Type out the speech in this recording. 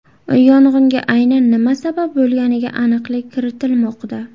Yong‘inga aynan nima sabab bo‘lganiga aniqlik kiritilmoqda.